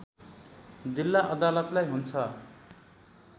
जिल्ला अदालतलाई हुन्छ